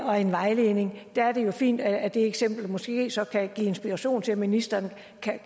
og en vejledning er det jo fint at det eksempel måske så kan give inspiration til at ministeren